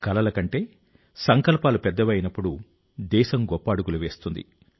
కలల కంటే సంకల్పాలు పెద్దవి అయినప్పుడు దేశం గొప్ప అడుగులు వేస్తుంది